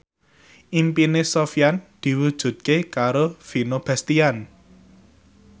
impine Sofyan diwujudke karo Vino Bastian